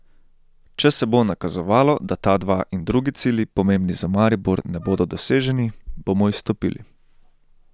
Če se bo nakazovalo, da ta dva in drugi cilji, pomembni za Maribor, ne bodo doseženi, bomo izstopili.